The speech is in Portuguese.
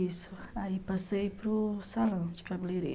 Isso, aí passei para o salão de cabeleireiro.